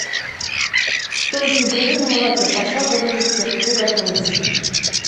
тонкие блины на молоке пошаговый рецепт приготовить